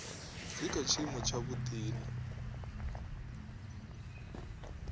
dzi kha tshiimo tshavhuḓi na